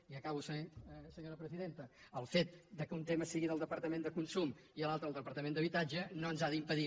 i acabo senyora presidenta el fet que un tema sigui del departament de consum i l’altre del departament d’habitatge no ens ha d’impedir